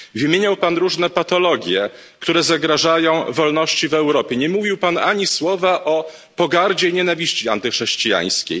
Wymieniał Pan różne patologie, które zagrażają wolności w Europie, nie mówił Pan ani słowa o pogardzie i nienawiści antychrześcijańskiej.